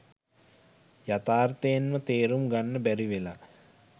යථාර්ථයෙන්ම තේරුම් ගන්න බැරිවෙලා.